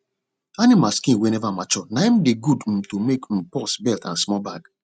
animal skin wey never mature na hin dey good um to make um purse belt and small bag